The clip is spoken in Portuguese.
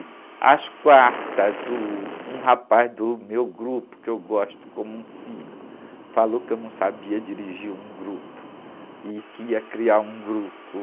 E às quartas, uh, um rapaz do meu grupo, que eu gosto como um filho, falou que eu não sabia dirigir um grupo e que ia criar um grupo.